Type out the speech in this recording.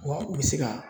Wa u bɛ se ka